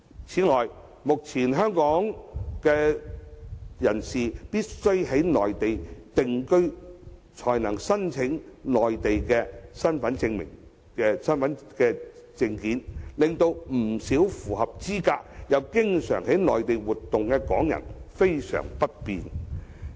此外，目前港人必須在內地定居才能申領內地身份證，令不少符合資格而又經常到內地活動的港人相當不便。